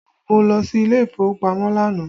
Mo lọ sí ilé ìfowópamọ́ lánàá